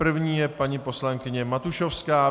První je paní poslankyně Matušovská.